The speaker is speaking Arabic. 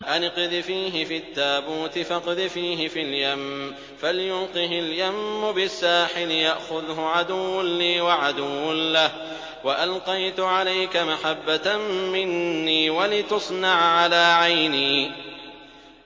أَنِ اقْذِفِيهِ فِي التَّابُوتِ فَاقْذِفِيهِ فِي الْيَمِّ فَلْيُلْقِهِ الْيَمُّ بِالسَّاحِلِ يَأْخُذْهُ عَدُوٌّ لِّي وَعَدُوٌّ لَّهُ ۚ وَأَلْقَيْتُ عَلَيْكَ مَحَبَّةً مِّنِّي وَلِتُصْنَعَ عَلَىٰ عَيْنِي